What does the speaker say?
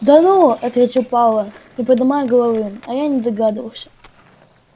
да ну ответил пауэлл не подымая головы а я и не догадывался